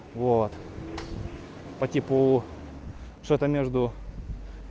вот по типу что-то между